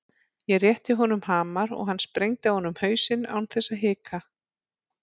Ég rétti honum hamar og hann sprengdi á honum hausinn án þess að hika.